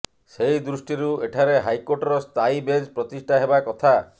ସେହି ଦୃଷ୍ଟିରୁ ଏଠାରେ ହାଇକୋର୍ଟର ସ୍ଥାୟୀ ବେଞ୍ଚ ପ୍ରତିଷ୍ଠା ହେବା କଥା